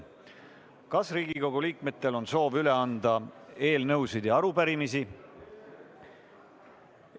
Kas Riigikogu liikmetel on soovi üle anda eelnõusid ja arupärimisi?